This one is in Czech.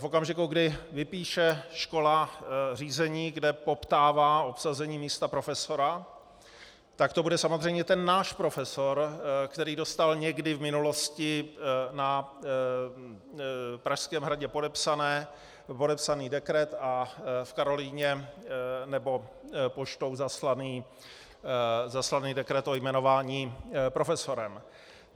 V okamžiku, kdy vypíše škola řízení, kde poptává obsazení místa profesora, tak to bude samozřejmě ten náš profesor, který dostal někdy v minulosti na Pražském hradě podepsaný dekret a v Karolinu nebo poštou zaslaný dekret o jmenování profesorem.